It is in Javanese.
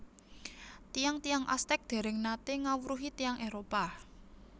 Tiyang tiyang Aztec dèrèng naté ngawruhi tiyang Éropah